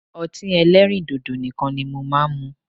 Ọtí ẹlẹ́rìndòdò nìkan ni mo máa ń mu